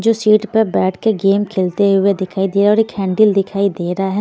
जो सीट पर बैठ के गेम खेलते हुए दिखाई दे रहा हैऔर एक हैंडल दिखाई दे रहा है।